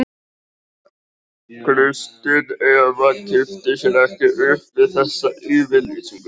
Kristín Eva kippti sér ekki upp við þessa yfirlýsingu.